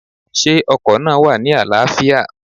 Sé ọkò náà wà ní àláâfíà?